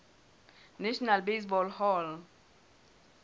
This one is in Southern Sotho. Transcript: national baseball hall